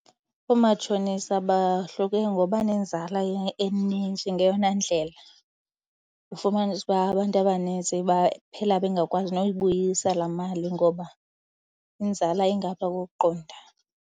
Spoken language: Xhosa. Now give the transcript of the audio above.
Oomatshonisa bahluke ngoba nenzala eninzi ngeyona ndlela. Ufumanise uba abantu abanintsi baphela bengakwazi noyibuyisa laa mali ngoba inzala ingaphaa kokuqonda.